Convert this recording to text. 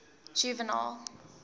juvenal